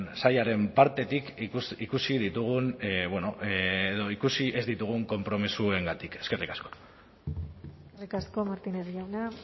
sailaren partetik ikusi ditugun edo ikusi ez ditugun konpromisoengatik eskerrik asko eskerrik asko martínez jauna